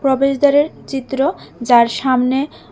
প্রবেশদ্বারের চিত্র যার সামনে--